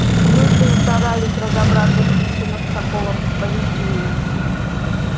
люди не старались разобраться в причинах такого поведения